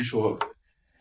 og